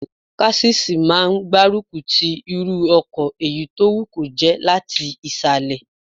Késìsì máa n gbárùkù ti irú ọkọ̀ èyí tó wù kó jẹ́ láti ìsàlẹ̀